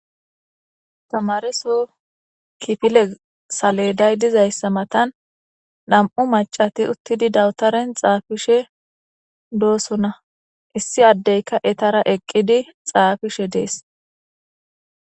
tamareso kipile saleday dizayssa matan dam7u macati uttidi dawutaren xaafishe doosona issi addeyka etara eqqidi xaafishe dees